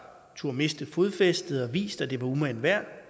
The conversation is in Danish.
turdet miste fodfæstet og har vist at det var umagen værd